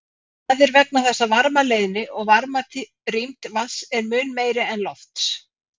Það er vegna þess að varmaleiðni og varmarýmd vatns er mun meiri en lofts.